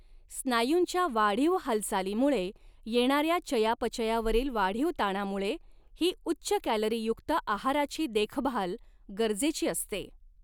स्नायूंच्या वाढीव हालचालीमुळे येणाऱ्या चयापचयावरील वाढीव ताणामुळे ही उच्च कॅलरीयुक्त आहाराची देखभाल गरजेची असते.